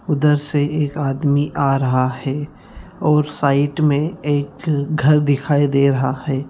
उधर से एक आदमी आ रहा है और साइड में एक घर दिखाई दे रहा है।